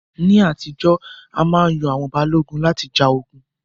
Ní ayé àtijọ́, a má yan àwọn Balógun láti ja ogun